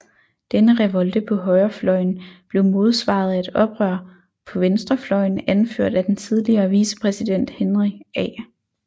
Denne revolte på højrefløjen blev modsvaret af et oprør på venstrefløjen anført af den tidligere vicepræsident Henry A